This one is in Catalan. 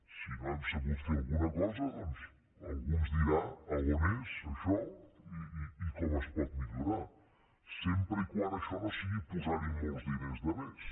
si no hem sabut fer alguna cosa doncs algú ens dirà on és això i com es pot millorar sempre que això no sigui posar hi molts diners de més